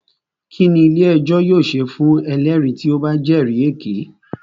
Kínní ilé ẹjọ́ yóò ṣe fún ẹlẹ́rìí tí o bá jẹ́rì èké?